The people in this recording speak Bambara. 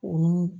Olu